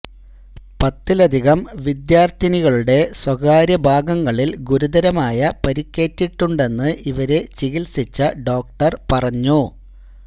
പത്തിലധികം വിദ്യാര്ത്ഥിനികളുടെ സ്വകാര്യ ഭാഗങ്ങളില് ഗുരുതരമായ പരിക്കേറ്റിട്ടുണ്ടെന്ന് ഇവരെ ചികിത്സിച്ച ഡോക്ടര് പറഞ്ഞു